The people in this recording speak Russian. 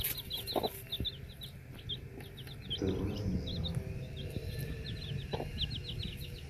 тв звезда